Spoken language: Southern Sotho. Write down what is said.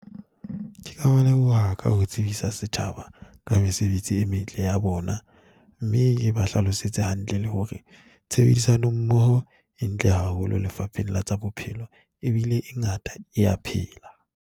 Ke ka ba leboha ka ho tsebisa setjhaba ka mesebetsi e metle ya bona, mme ke ba hlalosetse hantle le hore tshebedisano mmoho e ntle haholo Lefapheng la tsa Bophelo, ebile e ngata e a phela.